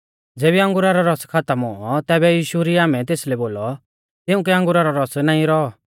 ज़ेबी अंगुरा रौ रस खातम हुऔ तैबै यीशु री आमै तेसलै बोलौ तिउंकै अंगुरा रौ रस नाईं रौ